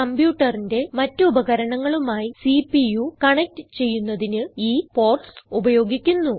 കംപ്യൂട്ടറിന്റെ മറ്റ് ഉപകരണങ്ങളുമായി CPU connect ചെയ്യുന്നതിന് ഈ പോർട്ട്സ് ഉപയോഗിക്കുന്നു